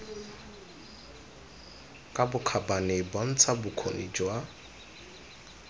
ka bokgabane bontsha bokgoni jwa